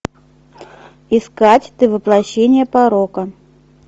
искать ты воплощение порока